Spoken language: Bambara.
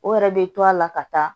O yɛrɛ bɛ to a la ka taa